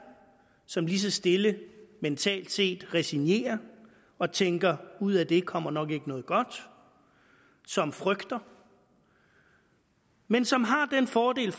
som lige så stille mentalt set resignerer og tænker at ud af det kommer der nok ikke noget godt og som frygter men som har den fordel